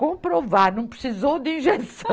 Comprovar, não precisou de injeção.